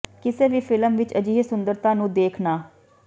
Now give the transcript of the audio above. ਕਿਸੇ ਵੀ ਫਿਲਮ ਵਿਚ ਅਜਿਹੇ ਸੁੰਦਰਤਾ ਨੂੰ ਦੇਖ ਨਾ